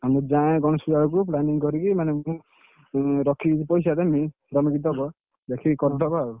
ଏଇଠି ଖାଇନି ବି~ ବିରିୟାନି।